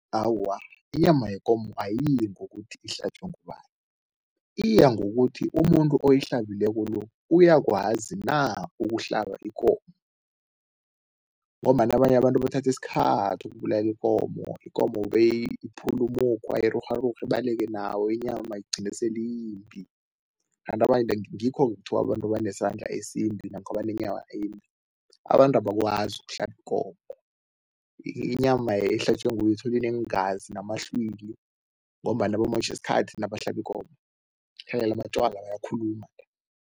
Awa, inyama yekomo ayiyi ngokuthi ihlatjwe ngoba. Iya ngokuthi umuntu oyihlabileko lo uyakwazi na ukuhlaba ikomo ngombana abanye abantu bathatha isikhathi ukubulala ikomo, ikomo beyiphule umukhwa, irurharurhe, ibaleke nawo, inyama igcine sele iyimbi kanti ngikho-ke kuthiwa abantu banesandla esimbi namkha embi. Abantu abakwazi ukuhlaba ikomo, inyama ehlatjiwe nguye uthole ineengazi namahlwili ngombana bamotjha isikhathi nabahlaba ikomo amatjwala, bayakhuluma.